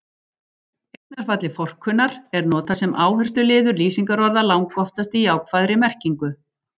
Eignarfallið forkunnar- er notað sem áhersluliður lýsingarorða, langoftast í jákvæðri merkingu.